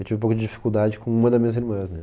Eu tive um pouco de dificuldade com uma das minhas irmãs, né?